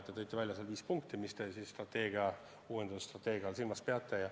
Te tõite välja viis punkti, mida te uues strateegias silmas peate.